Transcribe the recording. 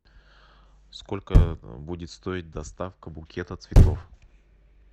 сколько будет стоить доставка букета цветов